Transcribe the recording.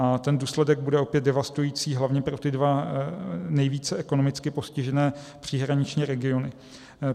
A ten důsledek bude opět devastující, hlavně pro ty dva nejvíce ekonomicky postižené příhraniční regiony.